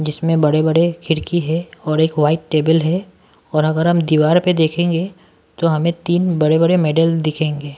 जिसमें बड़े-बड़े खिड़की है और एक वाइट टेबल है और अगर हम दीवार पे देखेंगे तो हमें तीन बड़े-बड़े मेडल दिखेंगे--